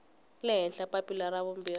le henhla papila ra vumbirhi